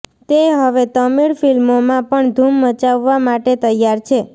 તે હવે તમિળ ફિલ્મોમાં પણ ધુમ મચાવવા માટે તૈયાર છે